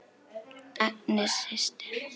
Agnes systir.